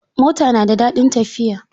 Mota na da daɗin tafiya.